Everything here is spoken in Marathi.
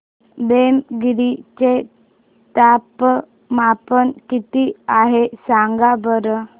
पेमगिरी चे तापमान किती आहे सांगा बरं